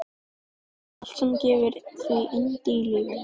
Allt sem gefur því yndi í lífinu.